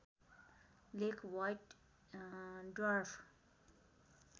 लेख white dwarf